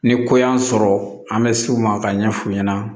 Ni ko y'an sɔrɔ an bɛ se u ma ka ɲɛ f'u ɲɛna